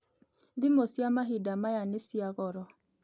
Thimũ cia mahinda maya nĩ cia goro